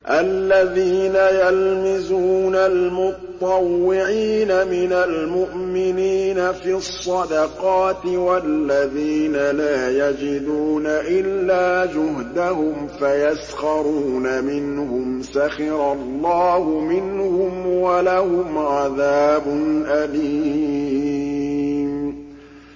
الَّذِينَ يَلْمِزُونَ الْمُطَّوِّعِينَ مِنَ الْمُؤْمِنِينَ فِي الصَّدَقَاتِ وَالَّذِينَ لَا يَجِدُونَ إِلَّا جُهْدَهُمْ فَيَسْخَرُونَ مِنْهُمْ ۙ سَخِرَ اللَّهُ مِنْهُمْ وَلَهُمْ عَذَابٌ أَلِيمٌ